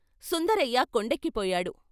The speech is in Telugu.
సుందరయ్య కొండెక్కిపోయాడు.